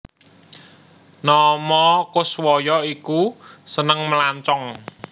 Nomo Koeswoyo iku seneng melancong